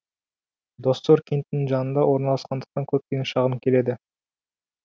доссор кентінің жанында орналасқандықтан көптеген шағым келеді